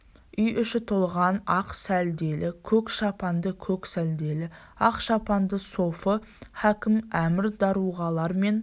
үй іші толған ақ сәлделі көк шапанды көк сәлделі ақ шапанды софы хакім әмір даруғалар мен